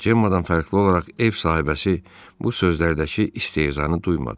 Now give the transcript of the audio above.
Cemma'dan fərqli olaraq ev sahibəsi bu sözlərdəki istehzanı duymadı.